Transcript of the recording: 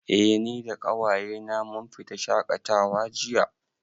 Eh, ni da ƙawaye na mun fita shaƙatawa jiya